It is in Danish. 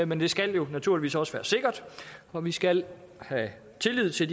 men det skal jo naturligvis også være sikkert og vi skal have tillid til